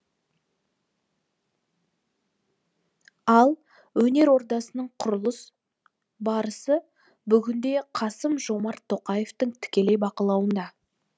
ал өнер ордасының құрылыс барысы бүгінде қасым жомарт тоқаевтың тікелей бақылауында